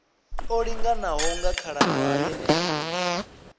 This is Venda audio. o linganaho nga khalaṅwaha yeneyo